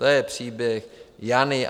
To je příběh Jany.